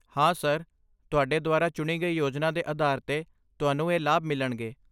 ਹਾਂ, ਸਰ, ਤੁਹਾਡੇ ਦੁਆਰਾ ਚੁਣੀ ਗਈ ਯੋਜਨਾ ਦੇ ਆਧਾਰ 'ਤੇ, ਤੁਹਾਨੂੰ ਇਹ ਲਾਭ ਮਿਲਣਗੇ।